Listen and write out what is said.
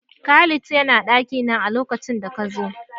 Khalid ya na ɗakina a lokacin da ka zo.